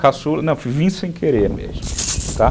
Caçula, não, vim sem querer mesmo, tá?